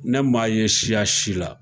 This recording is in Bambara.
Ne maa ye siya si la